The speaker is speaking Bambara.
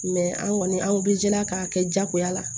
an kɔni an bɛ jila k'a kɛ jagoya la